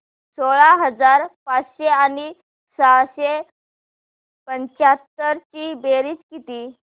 सोळा हजार पाचशे आणि सहाशे पंच्याहत्तर ची बेरीज किती